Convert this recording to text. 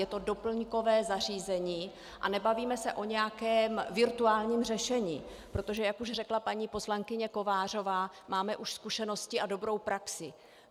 Je to doplňkové zařízení a nebavíme se o nějakém virtuálním řešení, protože jak už řekla paní poslankyně Kovářová, máme už zkušenosti a dobrou praxi.